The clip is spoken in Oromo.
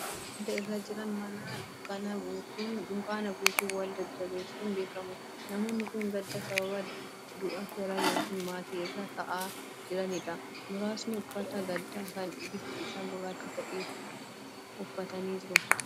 Namoonni gadda irra jiran mana dunkaana buusuun wal jajjabeessuun beekamu. Namoonni kun gadda sababa du'a fira yookiin maatii irraa taa'aa jirani dha. Muraasni uffata gaddaa kan bifti isaa gurraacha ta'e, uffatanii jiru.